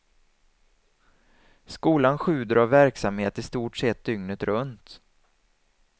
Skolan sjuder av verksamhet i stort sett dygnet runt.